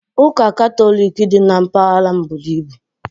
Ụka Katọlik dị na mpaghara m buru ibu